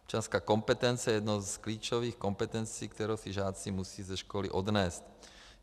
Občanská kompetence je jednou z klíčových kompetencí, kterou si žáci musí ze školy odnést.